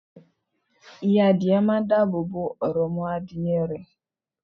Ìya Adìe máa n dáàbò bo òròmọadìyẹ rẹ̀